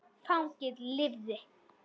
Fanginn lifði.